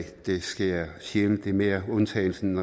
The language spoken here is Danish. det sker sjældent og er mere undtagelsen